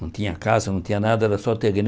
Não tinha casa, não tinha nada, era só terreno.